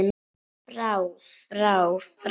FRÁ FRÁ FRÁ